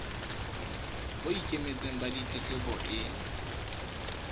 bo ikemetseng ba ditletlebo e